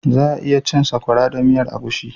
Za 'a iya cin Sakwara da miyan egusi.